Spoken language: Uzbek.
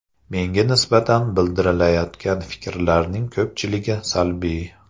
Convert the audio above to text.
Menga nisbatan bildirilayotgan fikrlarning ko‘pchiligi salbiy.